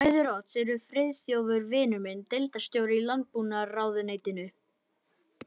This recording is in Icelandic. Bræður Odds eru Friðþjófur vinur minn, deildarstjóri í landbúnaðarráðuneytinu